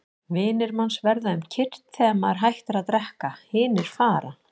Vinir manns verða um kyrrt þegar maður hættir að drekka, hinir fara.